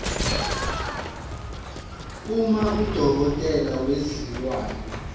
uma udokotela wezilwane